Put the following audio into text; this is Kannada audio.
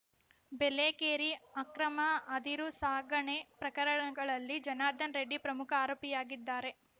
ಬೇಲೆಕೇರಿ ಅಕ್ರಮ ಅದಿರು ಸಾಗಣೆ ಪ್ರಕರಣಗಳಲ್ಲಿ ಜನಾರ್ದನ ರೆಡ್ಡಿ ಪ್ರಮುಖ ಆರೋಪಿಯಾಗಿದ್ದಾರೆ